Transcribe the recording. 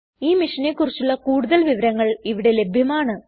ഈ മിഷനെ കുറിച്ചുള്ള കൂടുതൽ വിവരങ്ങൾ ഇവിടെ ലഭ്യമാണ്